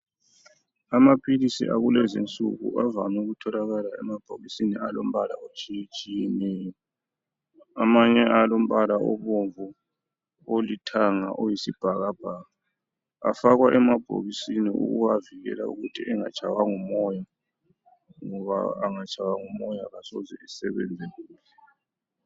Amaphilisi akulezinsuku avame ukutholakala emabhokisini alombala otshiyetshiyeneyo. Amanye alombala obomvu, olithanga, oyisibhakabhaka. Afakwa emabhokisini ukuwavikela ukuthi engatshaywa ngumoya ngoba angatshaywa ngumoya kasoze esebenze kuhle.